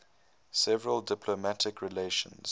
severed diplomatic relations